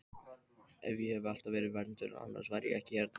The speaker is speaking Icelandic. Ég hef alltaf verið vernduð, annars væri ég ekki hérna.